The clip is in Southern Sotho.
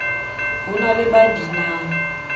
ho na le ba binang